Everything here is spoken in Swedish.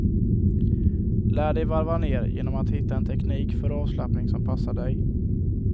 Lär dig varva ner genom att hitta en teknik för avslappning som passar dig.